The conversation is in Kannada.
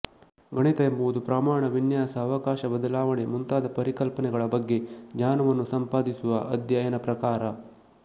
ಗಣಿತ ಎಂಬುದು ಪ್ರಮಾಣ ವಿನ್ಯಾಸ ಅವಕಾಶ ಬದಲಾವಣೆ ಮುಂತಾದ ಪರಿಕಲ್ಪನೆಗಳ ಬಗ್ಗೆ ಜ್ಞಾನವನ್ನು ಸಂಪಾದಿಸುವ ಅಧ್ಯಯನ ಪ್ರಕಾರ